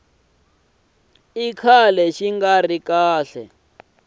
kala xi nga ri kahle